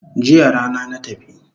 Jiya rana na tafi